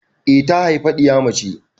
Eh ta haifa ɗiya mace.